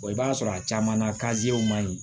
i b'a sɔrɔ a caman na man ɲi